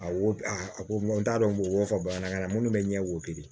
A wo a ko n t'a dɔn n b'o fɔ bamanankan na munnu be ɲɛ wo kelen